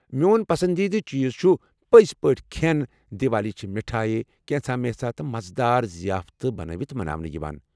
میون پسندیدٕ چیٖز چھِ، پٔزۍ پٲٹھۍ، کھٮ۪ن ۔ دیوالی چھِ مِٹھایہِ، كینژھ مینژھا تہٕ مزٕ دار ضِیافتہٕ بنٲوِتھ مناونہٕ یوان۔